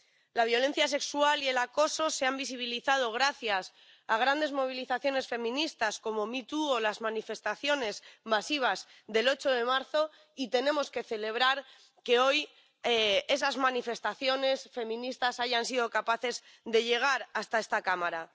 La violencia sexual y el acoso se han visibilizado gracias a grandes movilizaciones feministas como MeToo o las manifestaciones masivas del 8 de marzo, y tenemos que celebrar que hoy esas manifestaciones feministas hayan sido capaces de llegar hasta esta Cámara.